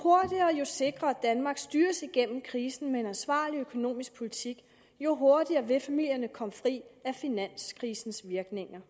sikrere danmark styres gennem krisen med en ansvarlig økonomisk politik jo hurtigere vil familierne komme fri af finanskrisens virkninger